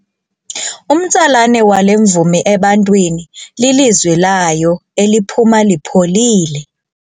Umtsalane wale mvumi ebantwini lilizwi layo eliphuma lipholile.